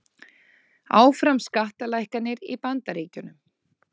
Áfram skattalækkanir í Bandaríkjunum